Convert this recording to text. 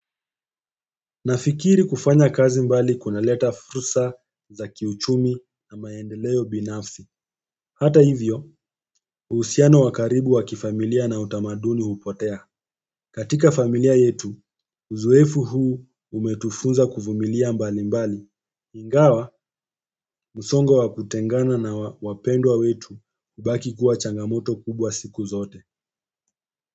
Nafikiri kufanya kazi mbali kunaleta fursa za kiuchumi na maendeleo binafsi hata hivyo, uhusiano wa karibu wakifamilia na utamaduni hupotea katika familia yetu, uzoefu huu umetufunza kuvumilia mbali mbali ingawa, musongo wakutengana na wapendwa wetu kubaki kuwa changamoto kubwa siku zote.